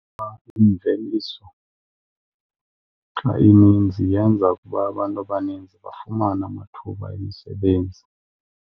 Imveliso xa ininzi yenza ukuba abantu abaninzi bafumane amathuba emisebenzi.